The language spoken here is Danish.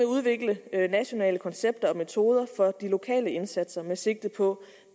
udvikle nationale koncepter og metoder for de lokale indsatser med sigte på